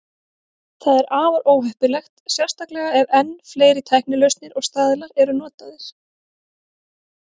Það er afar óheppilegt, sérstaklega ef enn fleiri tæknilausnir og staðlar eru notaðir.